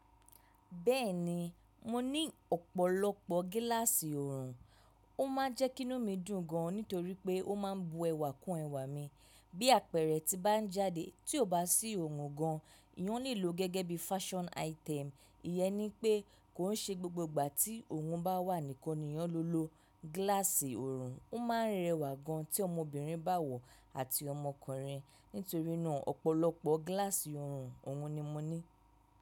Bẹ́ẹ̀ni, mo ní ọ̀pọ̀lọpọ̀ gíláàsì ọorùn, ó ma n jẹ́ kí inú mi dùn gan nítorí pé ó ma ń bu ẹwà kún ẹwà mi. Bí àpẹrẹ tí n bá ń jáde tí ò bá sí ọorùn gan, eeyáń lílò gẹ́gẹ́ bí fashion item. Ìyẹ́n ní pé kó ń ṣe gbogbo ìgbà tí ọorùn bá wà nìkan ni ìyáń le lo. Gíláàsì ọorùn ó ma ń rẹwà gan tí ọmọbìnrin bá wọ̀ àti ọmọkùnrin. Nítorí náà ọ̀pọ̀lọpọ̀ gíláàsì ọorùn òhun ni mo ní.